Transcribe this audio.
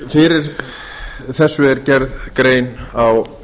fyrir þessu er gerð grein á